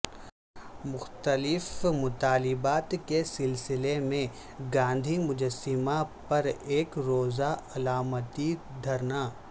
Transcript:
مختلف مطالبات کے سلسلہ میں گاندھی مجسمہ پر یک روزہ علا متی دھرنا